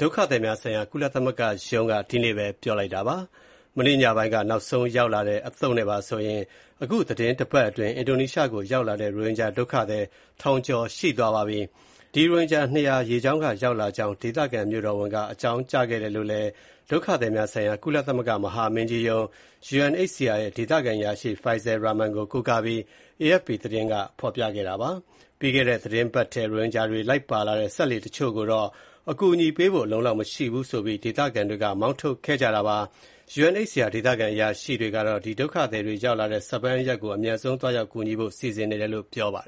ဒုက္ခသည်များဆိုင်ရာ ကုလသမဂ္ဂရုံးက ဒီကနေ့ပဲ ပြောလိုက်ပါတယ်။ မနေ့ညပိုင်းက နောက်ဆုံးရောက်လာတဲ့ အသုတ်နဲ့ပါဆိုရင် သီတင်းတပတ်အတွင်း အင်ဒိုနီးရှားကို ရောက်လာတဲ့ ရိုဟင်ဂျာ ထောင်ကျော်ရှိသွားပါပြီ။ ရိုဟင်ဂျာ ၂၀၀ ရေကြောင်းက ရောက်လာကြောင်း ဒေသခံမြို့တော်ဝန်က အကြောင်းကြားခဲ့တယ်လို့လည်း ဒုက္ခသည်များဆိုင်ရာ ကုလသမဂ္ဂ မဟာမင်းကြီးရုံး (UNHCR) ရဲ့ ဒေသခံအရာရှိ Faisal Rahman (ဖိုင်စဲ ရာမန်) ကို ကိုးကားပြီး AFP သတင်းက ဖော်ပြခဲ့တာပါ။ ပြီးခဲ့တဲ့သီတင်းပတ်ထဲ ရိုဟင်ဂျာတွေ လိုက်ပါလာတဲ့ စက်လှေတချို့ကိုတော့ အကူအညီပေးဖို့ အလုံအလောက် မရှိဘူးဆိုပြီး ဒေသခံတွေက မောင်းထုတ်ခဲ့ကြတာပါ။ UNHCR ဒေသခံအရာရှိကတော့ ဒုက္ခသည်တွေ ရောက်လာတဲ့ Sabang (ဆာဘန်) အရပ်ကို အမြန်ဆုံးသွားရောက် ကူညီဖို့ စီစဉ်နေတယ်လို့ ပြောပါတယ်